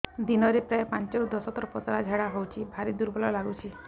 ଦିନରେ ପ୍ରାୟ ପାଞ୍ଚରୁ ଦଶ ଥର ପତଳା ଝାଡା ହଉଚି ଭାରି ଦୁର୍ବଳ ଲାଗୁଚି